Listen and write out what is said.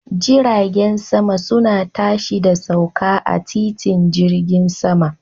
Jiragen sama suna tashi da sauka a titin jirgin sama.